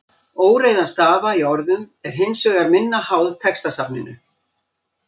Óreiða stafa í orðum er hins vegar minna háð textasafninu.